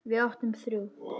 Við áttum þrjú.